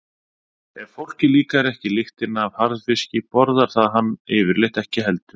Ef fólki líkar ekki lyktin af harðfiski borðar það hann yfirleitt ekki heldur.